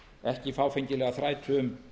ekki fáfengilega þrætu um